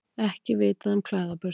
Ekki er vitað um klæðaburð